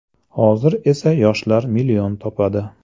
Hozir esa yoshlar million topadi.